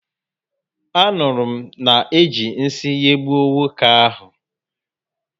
Anụrụ m na-eji nsị nyegbuo nwoke ahụ.